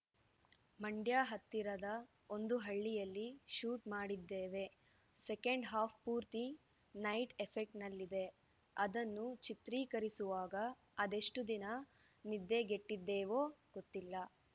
ಮಂಡ್ಯ ಹತ್ತಿರದ ಒಂದು ಹಳ್ಳಿಯಲ್ಲಿ ಶೂಟ್‌ ಮಾಡಿದ್ದೇವೆಸೆಕೆಂಡ್‌ ಹಾಫ್‌ ಪೂರ್ತಿ ನೈಟ್‌ ಎಫೆಕ್ಟ್ನಲ್ಲಿದೆ ಅದನ್ನು ಚಿತ್ರೀಕರಿಸುವಾಗ ಅದೆಷ್ಟುದಿನ ನಿದ್ದೆಗೆಟ್ಟಿದ್ದೇವೋ ಗೊತ್ತಿಲ್ಲ